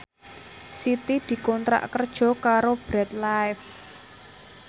Siti dikontrak kerja karo Bread Life